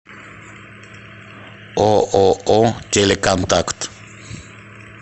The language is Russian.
ооо телеконтакт